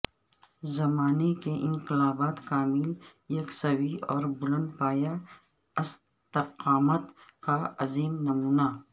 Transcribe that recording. زمانہ کے انقلابات کامل یکسوئی اور بلند پایہ استقامت کا عظیم نمونہ